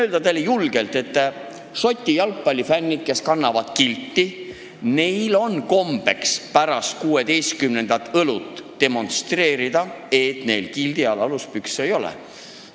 Võin teile julgelt öelda, et Šoti jalgpallifännidel, kes kannavad kilti, on kombeks pärast 16. õlut demonstreerida, et neil kildi all aluspükse ei ole.